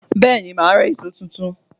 Bẹ́ẹ̀ni, màá ra èṣó tuntun.